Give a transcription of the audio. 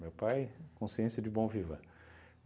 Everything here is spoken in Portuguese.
Meu pai, consciência de bon vivant